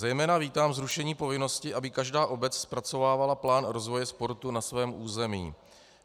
Zejména vítám zrušení povinnosti, aby každá obec zpracovávala plán rozvoje sportu na svém území.